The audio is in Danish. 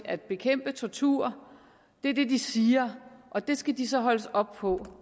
at bekæmpe tortur det er det de siger og det skal de så holdes op på